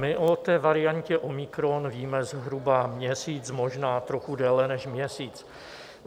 My o té variantě omikron víme zhruba měsíc, možná trochu déle než měsíc.